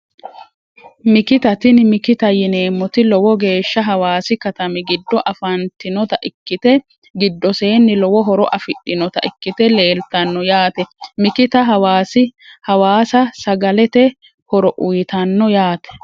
Mikita tini mikita yineemoti lowo geesha hawaasi katami giddo afantinota ikite gidoseeni lowo horo afidhinota ikite leeltano yaate mikita hawaasa sagalete horo uuyitano yaate.